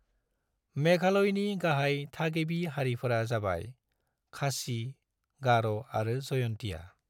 मेघालयनि गाहाय थागिबि हारिफोरा जाबाय खासी, गार' आरो जयंतिया।